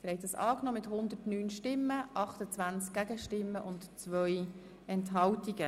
Der Grosse Rat hat Ziffer 1 der Motion angenommen.